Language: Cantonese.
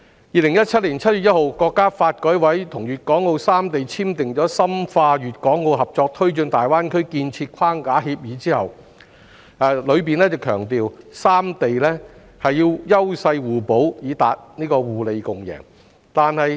2017年7月1日，國家發改委與粵港澳三地簽訂的《深化粵港澳合作推進大灣區建設框架協議》中強調三地要優勢互補，以達互利共贏。